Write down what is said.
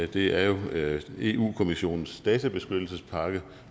det er jo eu kommissionens databeskyttelsespakke